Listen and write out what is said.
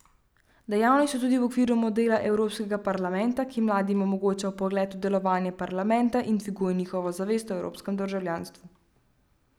Dejavni so tudi v okviru Modela evropskega parlamenta, ki mladim omogoča vpogled v delovanje parlamenta in dviguje njihovo zavest o evropskem državljanstvu.